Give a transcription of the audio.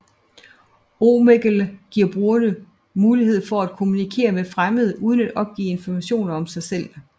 Omegle giver brugerne mulighed for at kommunikere med fremmede uden at opgive informationer om sig selv